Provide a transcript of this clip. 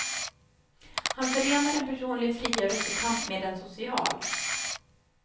Han förenar en personlig frigörelsekamp med en social.